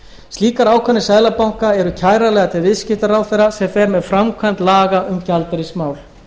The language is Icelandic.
slíkar ákvarðanir seðlabanka eru kæranlegar til viðskiptaráðherra sem fer með framkvæmd laga um gjaldeyrismál